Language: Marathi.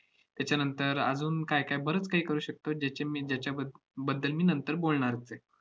त्याच्यानंतर अजून काय काय बरंच काही करू शकतो, ज्याच्या मी~ ज्याच्याब~ बद्दल मी नंतर बोलणारच आहे.